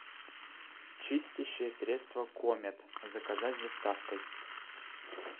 чистящее средство комет заказать с доставкой